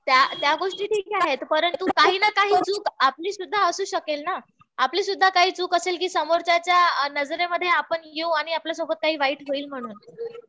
त्या त्या गोष्टी ठीक आहेत. परंतु काही ना काही चूक आपली सुद्धा असू शकेल ना. आपली सुद्धा काही चूक असेल कि समोरच्याच्या नजरेमध्ये आपण येऊ आणि आपल्या सोबत काही वाईट होईल म्हणून.